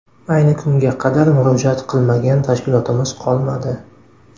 Ayni kunga qadar murojaat qilmagan tashkilotimiz qolmadi.